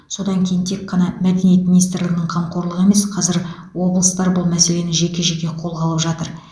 содан кейін тек қана мәдениет министрлігінің қамқорлығы емес қазір облыстар бұл мәселені жеке жеке қолға алып жатыр